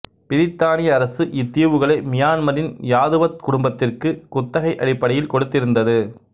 பிரித்தானிய அரசு இத்தீவுகளை மியான்மரின் யாதுவத் குடும்பத்திற்கு குத்தகை அடிப்படையில் கொடுத்திருந்தது